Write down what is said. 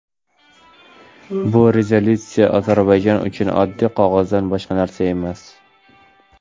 bu rezolyutsiya Ozarbayjon uchun oddiy qog‘ozdan boshqa narsa emas.